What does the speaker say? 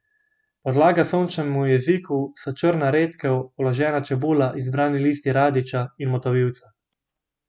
Podlaga sočnemu jeziku so črna redkev, vložena čebula, izbrani listi radiča in motovilca.